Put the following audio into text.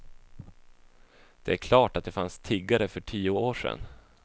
Det är klart att det fanns tiggare för tio år sedan.